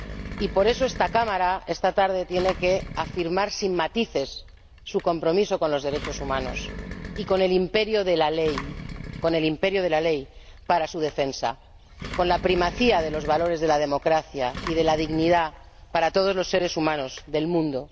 Y por eso, esta Cámara esta tarde tiene que afirmar sin matices su compromiso con los derechos humanos y con el imperio de la ley, para su defensa, y con la primacía de los valores de la democracia y de la dignidad para todos los seres humanos del mundo.